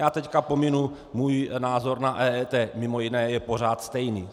Já teď pominu můj názor na EET, mimo jiné je pořád stejný.